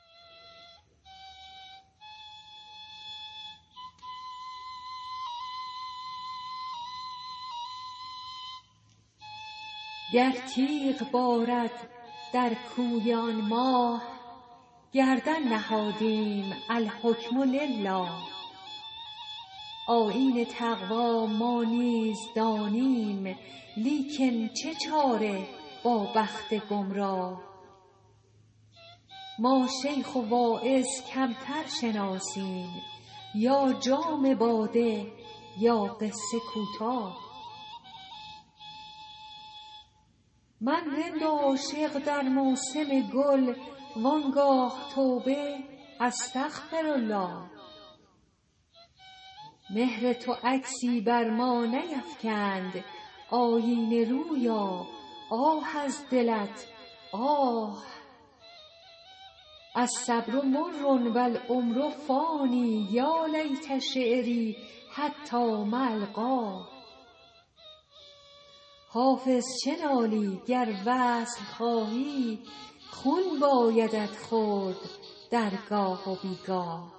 گر تیغ بارد در کوی آن ماه گردن نهادیم الحکم لله آیین تقوا ما نیز دانیم لیکن چه چاره با بخت گمراه ما شیخ و واعظ کمتر شناسیم یا جام باده یا قصه کوتاه من رند و عاشق در موسم گل آن گاه توبه استغفرالله مهر تو عکسی بر ما نیفکند آیینه رویا آه از دلت آه الصبر مر و العمر فان یا لیت شعري حتام ألقاه حافظ چه نالی گر وصل خواهی خون بایدت خورد در گاه و بی گاه